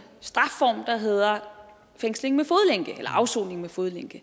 strafform der hedder afsoning med fodlænke